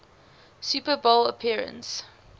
super bowl appearance